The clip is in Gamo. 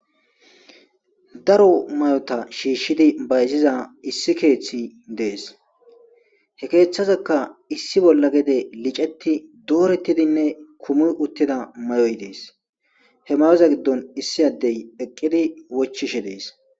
Daro may'ota shiishshidi bayziza issi keeththi dees hekeeththazekka issi bolla gede liceti doorettidinne kumi uttida may'oy dees hemayoza giddon issi addey eqqidi wochishe dees.